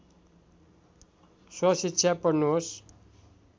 स्वशिक्षा पढ्नुहोस्